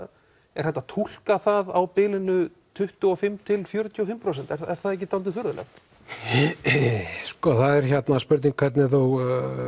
er hægt að túlka það á bilinu tuttugu og fimm fjörutíu og fimm prósent er það ekki dálítið furðulegt það er spurning hvernig þú